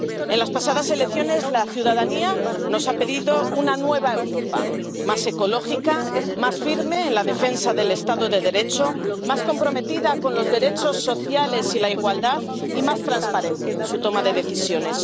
En las pasadas elecciones, la ciudadanía nos ha pedido una nueva Europa más ecológica, más firme en la defensa del estado de Derecho, más comprometida con los derechos sociales y la igualdad, y más transparente en su toma de decisiones.